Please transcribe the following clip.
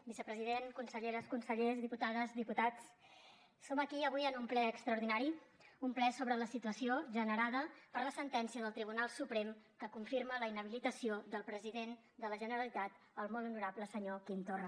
vicepresident conselleres consellers diputades diputats som aquí avui en un ple extraordinari un ple sobre la situació generada per la sentència del tribunal suprem que confirma la inhabilitació del president de la generalitat el molt honorable senyor quim torra